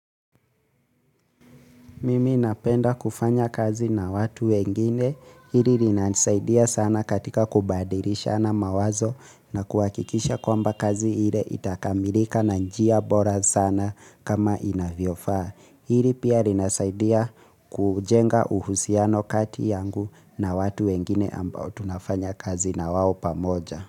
Mimi napenda kufanya kazi na watu wengine, hili linasaidia sana katika kubadilishana mawazo na kuhakikisha kwamba kazi ile itakamilika na njia bora sana kama inavyofaa. Hili pia linasaidia kujenga uhusiano kati yangu na watu wengine ambao tunafanya kazi na wao pamoja.